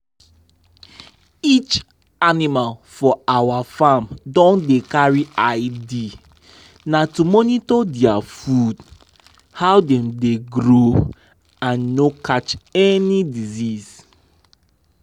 each animal for our farm don dey carry id. na to monitor dia food how dem dey grow and no catch any sickness.